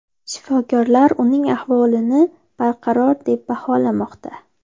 Shifokorlar uning ahvolini barqaror deb baholamoqda.